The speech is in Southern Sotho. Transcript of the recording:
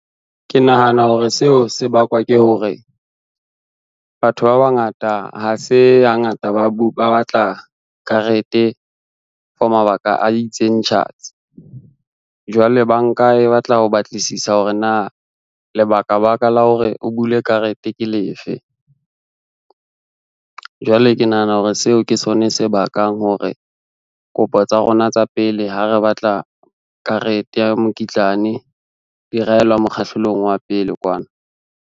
Ke nahana hore seo se bakwa ke hore, batho ba bangata ha se hangata ba batla karete for mabaka a itseng tjhatsi. Jwale banka e batla ho batlisisa hore na lebakabaka la hore o bule karete ke lefe. Jwale ke nahana hore seo ke sone se bakang hore kopo tsa rona tsa pele ha re batla karete ya mokitlane di raelwa mokgahlelong wa pele kwana.